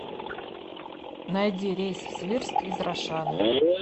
найди рейс в свирск из рошаля